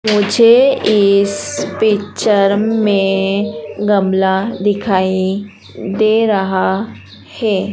मुझे इस पिक्चर में गमला दिखाई दे रहा है।